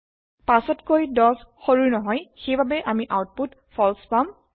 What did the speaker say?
৫তকৈ ১০ সৰু নহয় সেইবাবে আমি আওতপুত ফল্চ পাম